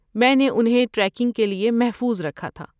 میں نے انہیں ٹریکنگ کے لیے محفوظ رکھا تھا۔